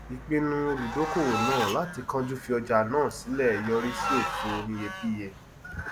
ìpinnu olùdókòwò náà láti kánjú fi ọjà náà sílẹ yọrí sí òfò oníyebíye